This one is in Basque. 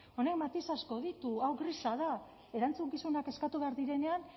honek matiz asko ditu hau grisa da erantzukizunak eskatu behar direnean